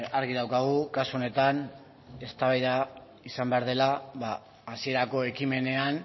argi daukagu kasu honetan eztabaida izan behar dela hasierako ekimenean